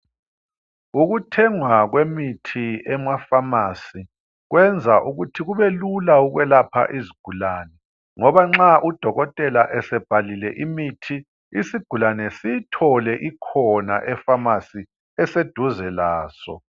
Ukuthengwa kwemithi emapharmacy kwenza ukuthi kube lula ukwelapha izigulane ngoba nxa udokotela esebhalile imithi isigulane siyithole ikhona epharmacy eseduze laso.